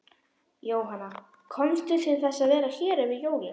Jóhanna: Komstu til þess að vera hér yfir jólin?